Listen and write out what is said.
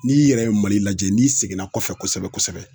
N'i yɛrɛ ye Mali lajɛ n'i seginna kɔfɛ kosɛbɛ kosɛbɛ